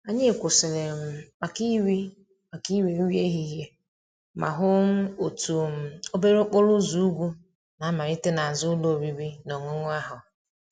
Anyị kwụsịrị um maka iri maka iri nri ehihie ma hụ um otu um obere okporo ụzọ ugwu na-amalite n'azụ ụlọ oriri na ọṅụṅụ ahụ.